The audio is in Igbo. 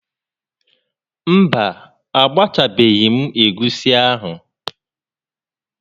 Mba, agbachabeghị m egusi ahụ